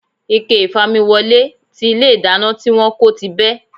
Ike ìfamiwọlé tí ilé ìdáná tí wón kó ti bẹ́.